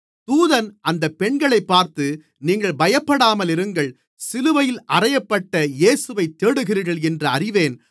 தூதன் அந்தப் பெண்களைப் பார்த்து நீங்கள் பயப்படாமலிருங்கள் சிலுவையில் அறையப்பட்ட இயேசுவைத் தேடுகிறீர்கள் என்று அறிவேன்